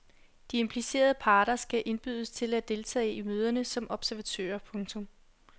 De implicerede parter skal indbydes til at deltage i møderne som observatører. punktum